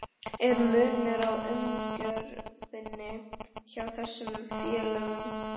Er munur á umgjörðinni hjá þessum félögum?